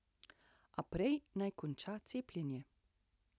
A prej naj konča cepljenje.